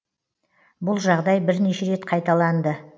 бұл жағдай бірнеше рет қайталанды